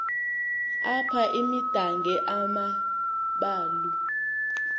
apha imidange amambalu